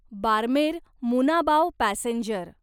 Barmer Munabao passenger